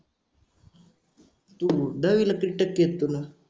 तू दहावीला किती टक्के आहेत तुला.